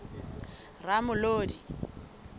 ramolodi